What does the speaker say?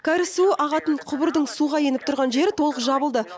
кәріз суы ағатын құбырдың суға еніп тұрған жері толық жабылды